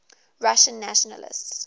russian nationalists